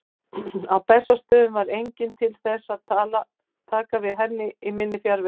Á Bessastöðum var enginn til þess að taka við henni í minni fjarveru.